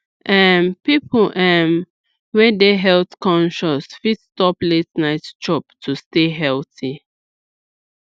um people um wey dey health conscious fit stop late night chop to stay healthy